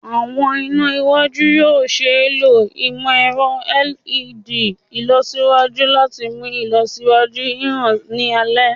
Awọn ina iwaju yoo ṣee lo imọ-ẹrọ LED ilọsiwaju lati mu ilọsiwaju hihan ni alẹ